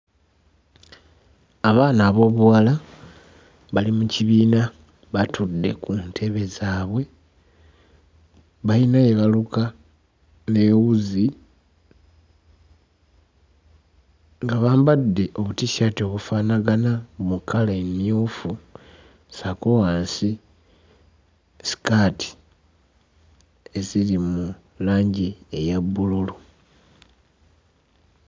Abaana ab'obuwala bali mu kibiina batude ku ntebe zaabwe bayina bye baluka ne wuzi nga bambadde obuti-shirt obufaanagana mu kkala emmyufu ssaako wansi sikaati eziri mu langi eya bbululu.